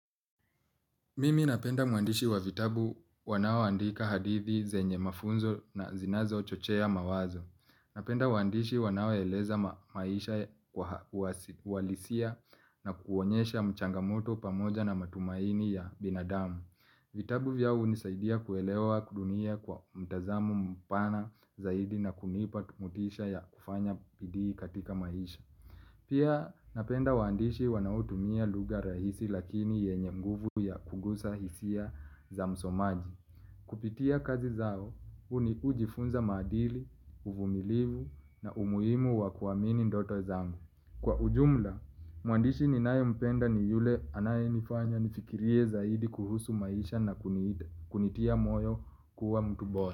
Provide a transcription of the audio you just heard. Mimi napenda mwandishi wa vitabu wanaoandika hadithi zenye mafunzo na zinazochochea mawazo. Napenda waandishi wanaoeleza maisha kwa uhalisia na kuonyesha changamoto pamoja na matumaini ya binadamu. Vitabu vyao hunisaidia kuelewa dunia kwa mtazamo mpana zaidi na kunipa motisha ya kufanya bidii katika maisha. Pia napenda waandishi wanaotumia lugha rahisi lakini yenye nguvu ya kugusa hisia za msomaji. Kupitia kazi zao, hujifunza madili, uvumilivu na umuhimu wa kuamini ndoto zangu. Kwa ujumla, mwandishi ninayempenda ni yule anayenifanya nifikirie zaidi kuhusu maisha na kunitia moyo kuwa mtu bora.